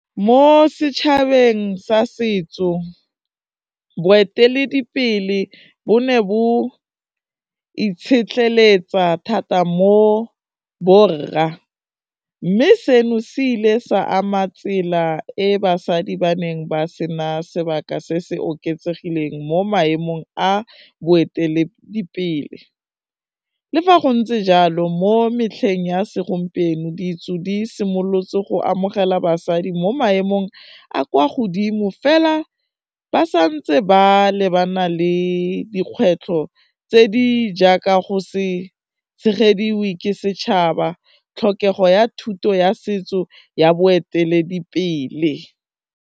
Mo setšhabeng sa setso, boeteledipele bo ne bo itshetlheletsa thata mo borra, mme seno se ile sa ama tsela e basadi ba neng ba sena sebaka se se oketsegileng mo maemong a boeteledipele, le fa go ntse jalo mo metlheng ya segompieno ditso di simolotse go amogela basadi mo maemong a kwa godimo, fela ba sa ntse ba lebana le dikgwetlho tse di jaaka go se tshegediwe ke setšhaba, tlhokego ya thuto ya setso ya boeteledipele.